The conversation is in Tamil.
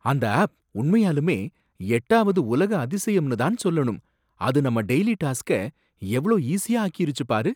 அந்த ஆப் உண்மையாலுமே எட்டாவது உலக அதிசயம்னு தான் சொல்லணும்! அது நம்ம டெய்லி டாஸ்க்க எவ்ளோ ஈஸியா ஆக்கியிருச்சு பாரு!